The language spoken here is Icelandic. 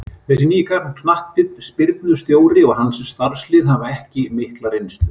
Þessi nýi knattspyrnustjóri og hans starfslið hafa ekki mikla reynslu.